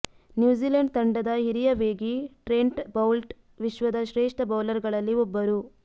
New Zealand ತಂಡದ ಹಿರಿಯ ವೇಗಿ ಟ್ರೆಂಟ್ ಬೌಲ್ಟ್ ವಿಶ್ವದ ಶ್ರೇಷ್ಠ ಬೌಲರ್ಗಳಲ್ಲಿ ಒಬ್ಬರು